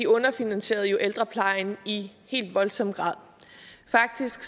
underfinansierede jo ældreplejen i helt voldsom grad faktisk